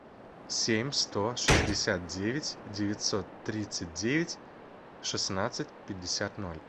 семь сто шестьдесят девять девятьсот тридцать девять шестнадцать пятьдесят ноль